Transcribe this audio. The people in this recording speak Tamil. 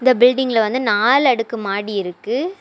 இந்த பில்டிங்ல வந்து நாலு அடுக்கு மாடி இருக்கு.